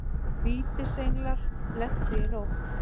Vítisenglar lentu í nótt